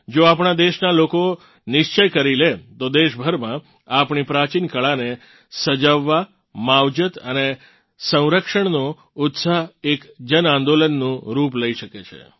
જો આપણાં દેશનાં લોકો નિશ્ચય કરી લે તો દેશભરમાં આપણી પ્રચીન કળાઓને સજાવવા માવજત અને સંરક્ષનો ઉત્સાહ એક જનઆંદોલનનું રૂપ લઇ શકે છે